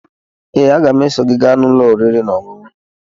Ee, aga m eso gị gaa n'ụlọ oriri na ọṅụṅụ